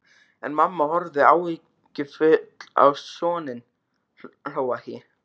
En mamma horfði áhyggjufull á soninn, hló ekki.